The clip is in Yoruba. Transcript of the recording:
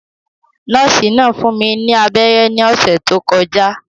Nọ́ọ̀sì náà fún mi ní abẹ́rẹ́ ní ọ̀sẹ̀ tó kọjá